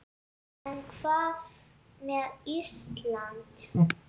En hvað með Ísland.